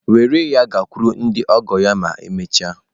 Were ya gakwuru ndị ọgọ ya ma emechaa.